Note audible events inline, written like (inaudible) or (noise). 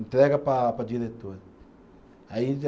Entrega para para a diretora. Aí (unintelligible)